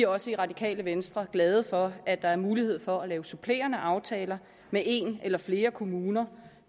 også i radikale venstre glade for at der er mulighed for at lave supplerende aftaler med en eller flere kommuner